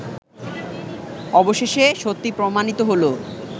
অবশেষে সত্যি প্রমাণিত হল